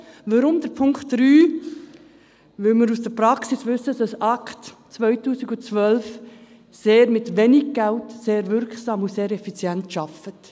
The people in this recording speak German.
Weshalb Punkt 3? – Wir wissen aus der Praxis, dass das Beratungs- und Schulungszentrum ACT212 mit wenig Geld sehr wirksam und effizient arbeitet.